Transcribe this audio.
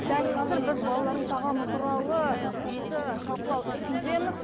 дәл қазір біз балалардың тағамы туралы тақырыпты талқылау үстіндеміз